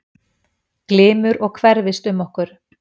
Glymur og hverfist um okkur.